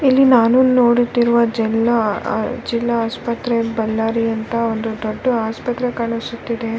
ಇಲ್ಲಿ ನಾನು ನೋಡುತ್ತಿರುವ ಜಲ್ಲ ಆಆಹ್ ಜಿಲ್ಲಾ ಆಸ್ಪತ್ರೆ ಬಳ್ಳಾರಿ ಅಂತ ಒಂದು ದೊಡ್ದು ಆಸ್ಪತ್ರೆ ಕಾಣಿಸುತ್ತಿದೆ .